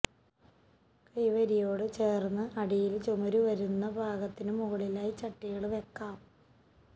കൈവരിയോട് ചേര്ന്ന് അടിയില് ചുമര് വരുന്ന ഭാഗത്തിന് മുകളിലായി ചട്ടികള് വെക്കാം